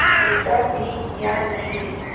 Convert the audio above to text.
छूटा भी या नहीं